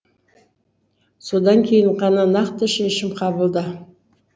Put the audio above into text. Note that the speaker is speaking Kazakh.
содан кейін ғана нақты шешім қабылда